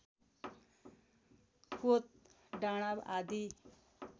कोत डाँडा आदि